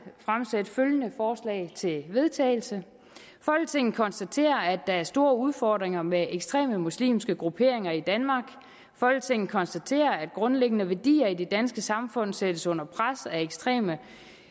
fremsætte følgende forslag til vedtagelse folketinget konstaterer at der er store udfordringer med ekstreme muslimske grupperinger i danmark folketinget konstaterer at grundlæggende værdier i det danske samfund sættes under pres af ekstreme